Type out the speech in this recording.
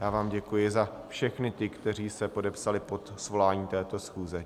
Já vám děkuji za všechny ty, kteří se podepsali pod svoláním této schůze.